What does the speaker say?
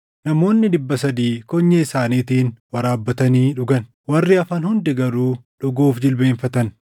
Namoonni dhibba sadii konyee isaaniitiin waraabbatanii dhugan. Warri hafan hundi garuu dhuguuf jilbeenfatan.